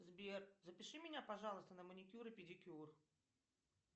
сбер запиши меня пожалуйста на маникюр и педикюр